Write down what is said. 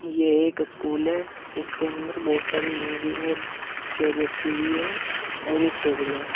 ये एक स्कूल है इसके अंदर बहुत सारी मेज और चेयर रखी हुई है और एक टेबल है।